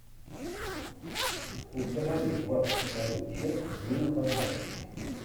установи двадцать вторую часть милых обманщиц